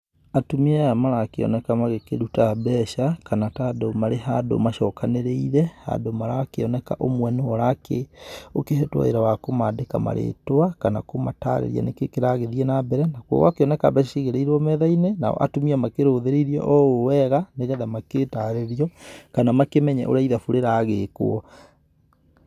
Atumia aya marakĩoneka magĩkĩruta mbeca, kana ta andũ marĩ handũ macokanĩrĩire, handũ marakĩoneka ũmwe nĩwe ũrakĩ, ũkĩhetwo wĩra wa kũmandĩka marĩtwa, kana kũmatarĩríia nĩkĩĩ kĩrathiĩ na mbere. Gũgakĩoneka mbeca cigĩrĩirwo metha-inĩ, nao atumia makĩrũthĩrĩirie o ũũ wega, nĩgetha magĩtarĩrio kana makĩmenye ũrĩa ithabu rĩragĩkwo.